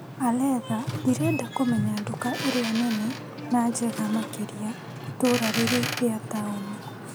Aletha ndĩrenda kũmenya nduka ĩrĩa nene na njega makĩria itũra rĩrĩ rĩa taũni .